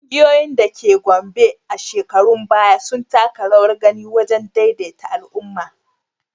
Ƙungiyoyin da ke Gombe a shekarun baya sun taka rawar gani wajen daidaita al’umma.